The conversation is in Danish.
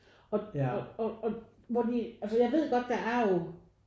Og og og hvor de altså jeg ved jo godt der er jo